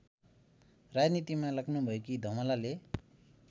राजनीतिमा लाग्नुभएकी धमलाले